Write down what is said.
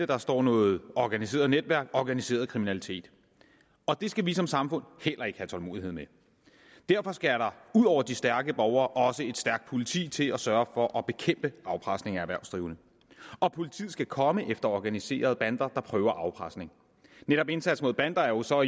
der står noget organiseret netværk organiseret kriminalitet og det skal vi som samfund heller ikke have tålmodighed med derfor skal der ud over de stærke borgere også et stærkt politi til at sørge for at bekæmpe afpresning af erhvervsdrivende og politiet skal komme efter organiserede bander der prøver afpresning netop indsats mod bander er jo så